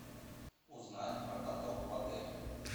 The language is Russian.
узнать про каток в отеле